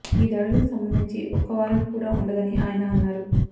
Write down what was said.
ఈ దాడులకు సంబంధించి ఒక్క వారంట్ కూడా ఉండదని ఆయన అన్నారు